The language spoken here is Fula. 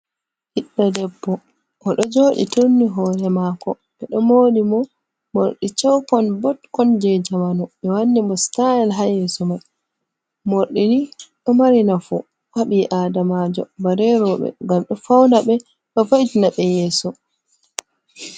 Biɗɗo ɗebbo. oɗo joɗi turni hore mako. be ɗo mori mo morɗi cawkon botkon je zamanu. Bi wanni mo sitayel ha yeso mai. Morɗini do mari nafu habi aɗamajo bale rebe gam ɗo fauna be do va'itina be yeso.